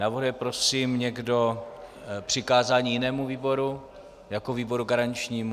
Navrhuje prosím někdo přikázání jinému výboru jako výboru garančnímu?